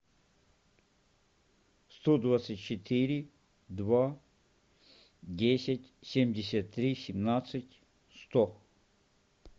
сто двадцать четыре два десять семьдесят три семнадцать сто